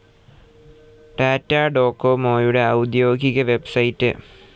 ടാറ്റ ഡോകൊമോയുടെ ഔദ്യോഗിക വെബ്സൈറ്റ്.